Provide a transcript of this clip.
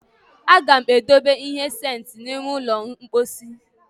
A ga m edobe ihe sentị n'ime ụlọ mposi